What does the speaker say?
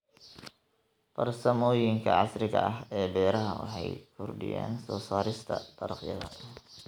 Farsamooyinka casriga ah ee beeraha waxay kordhiyaan soo saarista dalagyada.